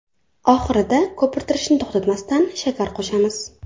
Oxirida, ko‘pirtirishni to‘xtatmasdan, shakar qo‘shamiz.